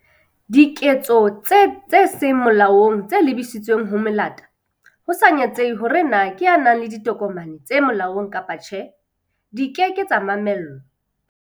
Diketso tse seng molaong tse lebisitsweng ho melata, ho sa natsehe hore na ke e nang le ditokomane tse molaong kapa tjhe, di ke ke tsa mamellwa.